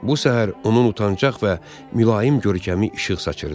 Bu səhər onun utancaq və mülayim görkəmi işıq saçırdı.